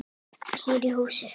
Hér í hús.